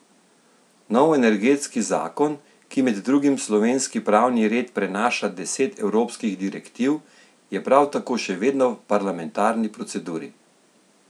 Nov energetski zakon, ki med drugim v slovenski pravni red prenaša deset evropskih direktiv, je prav tako še vedno v parlamentarni proceduri.